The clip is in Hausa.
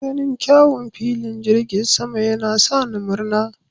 Ganin kyawun filin jirgin sama yana sa ni murna.